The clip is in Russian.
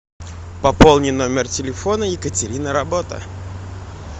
пополни номер телефона екатерина работа